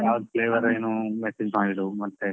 ಯಾವ್ದ್ flavour ಏನು message ಮಾಡಿದು ಮತ್ತೆ.